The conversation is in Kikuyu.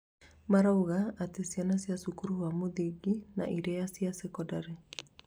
marauga atĩ ciana ca cukuru wa muthingi na iria ya cekondarĩ